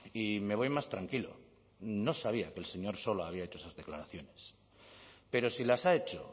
y me voy más tranquilo no sabía que el señor sola había hecho esas declaraciones pero si las ha hecho